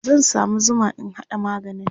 zan samu Zuma in haɗa maganin